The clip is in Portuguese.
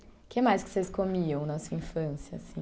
O que mais que vocês comiam na sua infância?